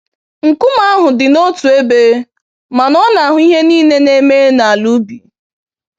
Nkume ahụ dina otú ébé, mana ọ na-ahụ ihe niile na-eme n'ala ubi.